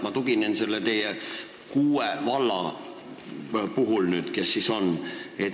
Ma tuginen nüüd neile kuuele vallale.